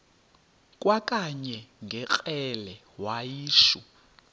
kwakanye ngekrele wayishu